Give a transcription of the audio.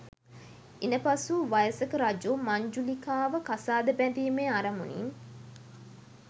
ඉනපසු වයසක රජු මංජුලිකාව කසාද බැදීමේ අරමුණින්